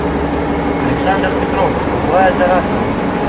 александр петров аглая тарасова